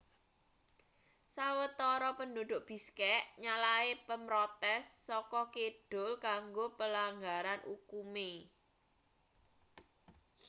sawetara penduduk bishkek nyalahne pemrotes saka kidul kanggo pelanggaran ukume